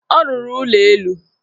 Ọ rụrụ ụlọelu.